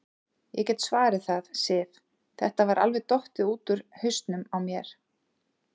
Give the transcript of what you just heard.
Ég get svarið það, Sif, þetta var alveg dottið út úr hausnum á mér.